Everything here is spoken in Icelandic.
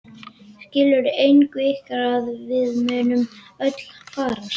Skilur enginn ykkar að við munum öll farast?